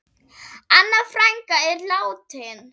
Anna frænka er látin.